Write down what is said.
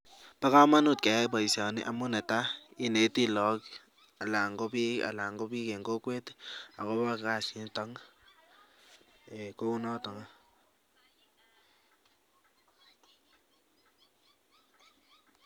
Bokomonut keyai boishoni amun netaa ineti lokok alan ko biik en kokwet akobo kasiniton eeh kounoniton.